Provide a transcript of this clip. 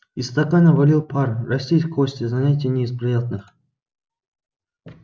из стакана валил пар растить кости занятие не из приятных